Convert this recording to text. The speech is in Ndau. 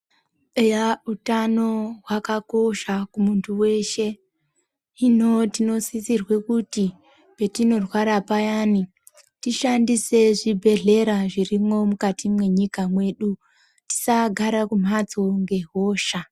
Eyah utano hwakakosha kumuntu weshe hino tinosisirwe kuti patinorwara payeni tishandise zvibhedhlera zvirimwo mukati mwenyika mwedu tisagara kumhatso ngehosha.